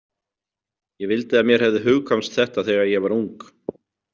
Ég vildi að mér hefði hugkvæmst þetta þegar ég var ung.